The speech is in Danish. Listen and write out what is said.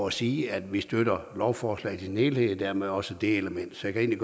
at sige at vi støtter lovforslaget i sin helhed og dermed også det element så jeg kan